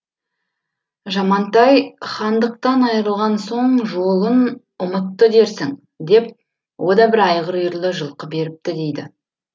жамантай хандықтан айырылған соң жолын ұмытты дерсің деп о да бір айғыр үйірлі жылқы беріпті дейді